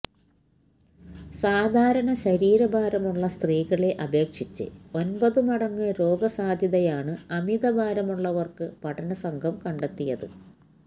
സാധാരണ ശരീരഭാരമുള്ള സ്ത്രീകളെ അപേക്ഷിച്ച് ഒന്പത് മടങ്ങ് രോഗസാധ്യതയാണ് അമിതഭാരമുള്ളവര്ക്ക് പഠന സംഘം കണ്ടെത്തിയത്